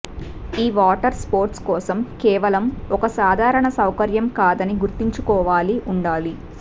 ఈ water sports కోసం కేవలం ఒక సాధారణ సౌకర్యం కాదని గుర్తుంచుకోవాలి ఉండాలి